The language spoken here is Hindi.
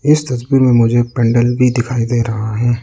इस तस्वीर में मुझे पंडाल भी दिखाई दे रहा है।